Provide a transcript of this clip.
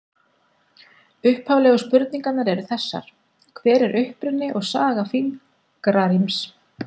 Upphaflegu spurningarnar eru þessar: Hver er uppruni og saga fingraríms?